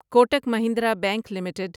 Kotak Mahindra bank limited